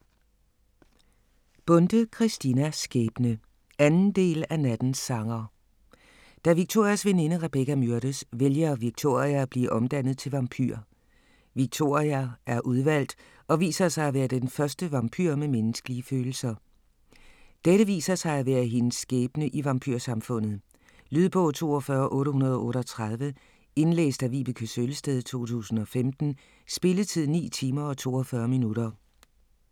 Bonde, Christina: Skæbne 2. del af Nattens sanger. Da Victorias veninde Rebecca myrdes, vælger Victoria at blive omdannet til vampyr. Victoria er udvalgt, og viser sig at være den første vampyr med menneskelige følelser. Dette viser sig at være hendes skæbne i vampyrsamfundet. Lydbog 42838 Indlæst af Vibeke Søllested, 2015. Spilletid: 9 timer, 42 minutter.